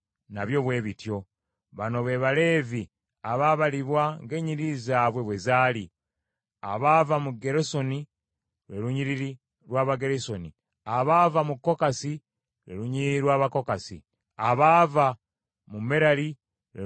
Bano be Baleevi abaabalibwa ng’enyiriri zaabwe bwe zaali: abaava mu Gerusoni, lwe lunyiriri lw’Abagerusoni; abaava mu Kokasi, lwe lunyiriri lw’Abakokasi; abaava mu Merali, lwe lunyiriri lw’Abamerali.